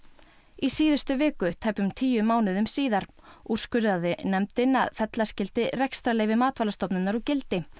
í síðustu viku tæpum tíu mánuðum síðar úrskurðaði nefndin að fella skyldi rekstrarleyfi Matvælastofnunar úr gildi